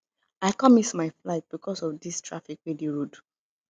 i com miss my flight because of dis traffic wey dey road